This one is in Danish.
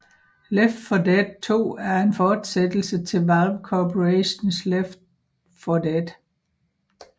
Left 4 Dead 2 er en forsættelse til Valve Corporations Left 4 Dead